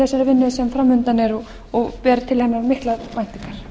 þessari vinnu sem framundan er og ber til hennar miklar væntingar